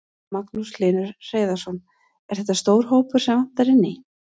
Magnús Hlynur Hreiðarsson: Er þetta stór hópur sem vantar inn í?